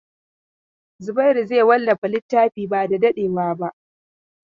Zubairu zai wallafa littafin ba da dadewa ba.